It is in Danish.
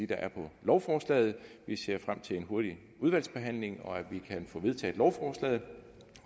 der er på lovforslaget vi ser frem til en hurtig udvalgsbehandling og at vi kan få vedtaget lovforslaget